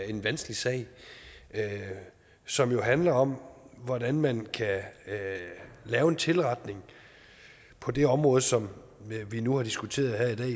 en vanskelig sag som jo handler om hvordan man kan lave en tilretning på det område som vi nu har diskuteret her